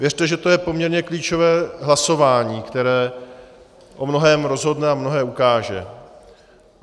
Věřte, že to je poměrně klíčové hlasování, které o mnohém rozhodne a mnohé ukáže.